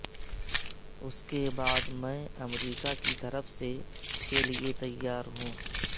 اس کے بعد میں امریکہ کی طرف سے کے لئے تیار ہے